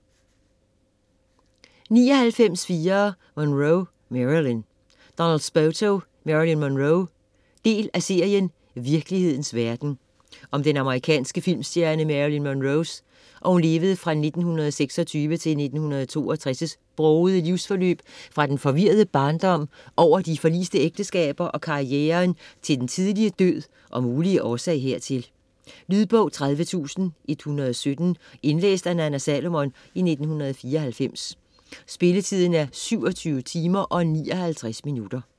99.4 Monroe, Marilyn Spoto, Donald: Marilyn Monroe Del af serien Virkelighedens verden. Om den amerikanske filmstjerne Marilyn Monroes (1926-1962) brogede livsforløb fra den forvirrede barndom, over de forliste ægteskaber og karrieren til den tidlige død og mulige årsag hertil. Lydbog 30117 Indlæst af Nanna Salomon, 1994. Spilletid: 27 timer, 59 minutter.